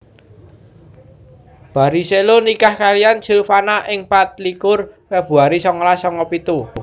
Barrichello nikah kaliyan Silvana ing patlikur Februari songolas songo pitu